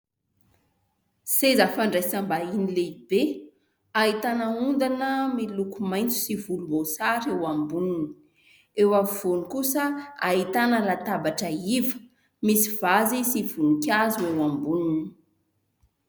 Seza fandraisam-bahiny lehibe, ahitana ondana miloko mainty sy volomboasary eo amboniny. Eo afovoany kosa ahitana latabatra iva misy vazy sy voninkazo eo amboniny.